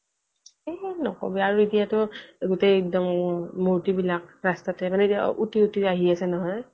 ওম নকবি আৰু আৰু এতিয়া তো গোটেই একদম মূৰ্তি বিলাক ৰাস্তাতে মানে কিবা উটি উটি আহি আছে নহয়